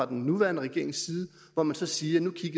den nuværende regering og hvor man så siger